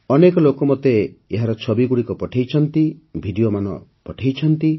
ଅନେକ ଲୋକ ମୋତେ ଏହାର ଛବିଗୁଡ଼ିକ ପଠାଇଛନ୍ତି ଭିଡିଓମାନ ପଠାଇଛନ୍ତି